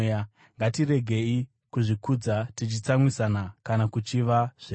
Ngatiregei kuzvikudza, tichitsamwisana kana kuchiva zvevamwe.